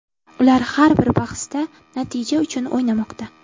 Ular har bir bahsda natija uchun o‘ynamoqda.